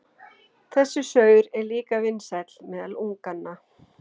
Þessi saur er líka vinsæll meðal unganna.